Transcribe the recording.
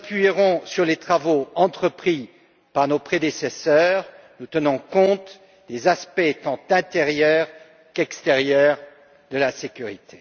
Nous nous appuierons sur les travaux entrepris par nos prédécesseurs en tenant compte des aspects tant intérieurs qu'extérieurs de la sécurité.